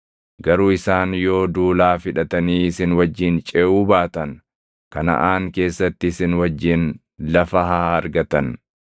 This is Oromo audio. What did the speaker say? Garuu isaan yoo duulaaf hidhatanii isin wajjin ceʼuu baatan, Kanaʼaan keessatti isin wajjin lafa haa argatan.”